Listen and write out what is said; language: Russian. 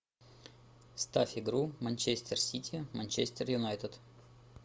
ставь игру манчестер сити манчестер юнайтед